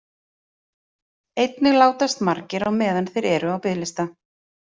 Einnig látast margir á meðan þeir eru á biðlista.